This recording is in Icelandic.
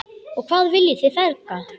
Og hvað viljið þið feðgar?